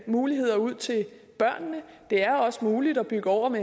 muligheder ud til børnene det er også muligt at bygge oven